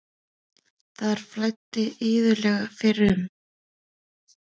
Þar flæddi iðulega fyrrum.